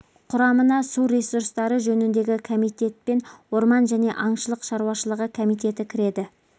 құрамына су ресурстары жөніндегі комитет пен орман және аңшылық шарушылығы комитеті кіреді